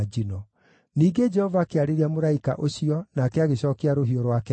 Ningĩ Jehova akĩarĩria mũraika ũcio nake agĩcookia rũhiũ rwake njora.